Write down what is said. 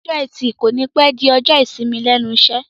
Ọjọ́ ẹtì kònípẹ́ di ọjọ́ ìsinmi lẹ́nu iṣẹ́